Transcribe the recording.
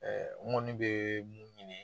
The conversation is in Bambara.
n kɔni bɛ mun ɲini.